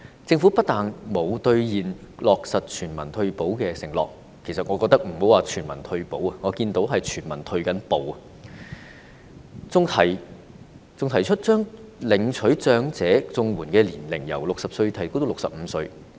政府不單沒有兌現落實全民退保的承諾——我認為莫說是全民退保，我看到的是全民正在退步——還提出將領取長者綜援的年齡由60歲提高至65歲。